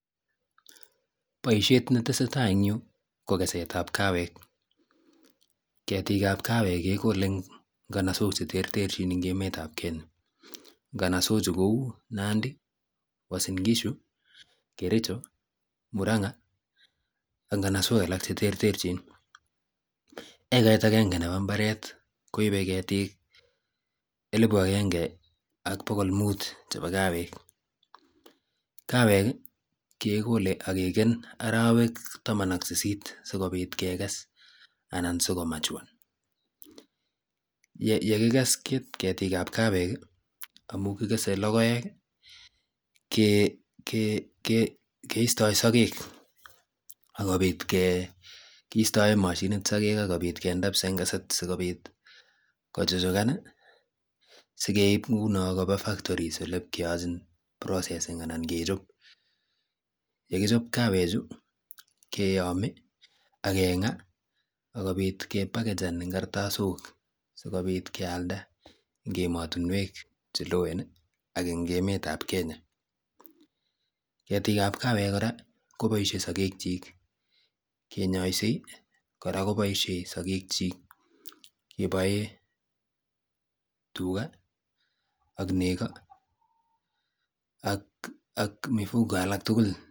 Boisiet netesetai eng yu ko kokesetab kawek. Ketikab kawek kekole eng nganasok cheterterchin eng emetab kenya nganasochu kou nandi uasingishu, kericho, muranga ak nganasok alak cheterterchin. Ekait agenge nebo mbaret koibe ketik elbu agenge ak bokol mut chwbo kawek. Kawek kekole akeken arawek taman ak sisit sikobiit kekes anan siko matuan yekikes ketik ab kawek amu kikese lokoek keistoi sakek kiistoe machiniit sokeke akobit kende ngesit sikobit kochuchukan sikeib nguno koba factory ole ipkeochin processing anan kechop yekichop kawechu keyomi agenga akobit kepackagan eng kartasok sikobit kealda eng ematinwek cheloen ak ing emetab kenya. Ketik ab kawek kora koboisie sokekchik kenyoisei kora koboisiei sokek chik keboe tuga ak nego ak mifugo alak tugul.